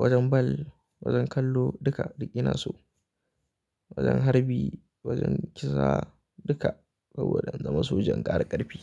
wajen bal, wajen kallo duka, duk ina so. Wajen harbi, wajen kisa duka saboda in zama sojan ƙara ƙarfi.